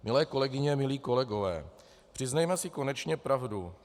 Milé kolegyně, milí kolegové, přiznejme si konečně pravdu.